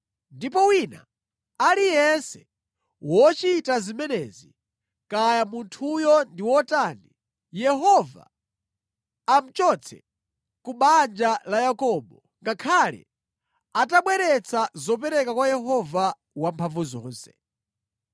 Ndipo wina aliyense wochita zimenezi, kaya munthuyo ndi wotani, Yehova amuchotse ku banja la Yakobo, ngakhale atabweretsa zopereka kwa Yehova Wamphamvuzonse.